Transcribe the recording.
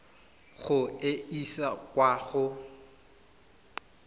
go e isa kwa go